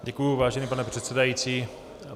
Děkuji, vážený pane předsedající.